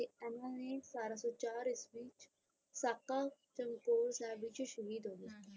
ਤੇ ਇਹਨਾਂ ਨੇ ਸਤਾਰਾਂ ਸੌ ਚਾਰ ਈਸਵੀ ਸਾਕਾ ਚਮਕੌਰ ਸਾਹਿਬ ਵਿੱਚ ਸ਼ਹੀਦ ਹੋ ਗਏ ਹੁੰ ਹੁੰ।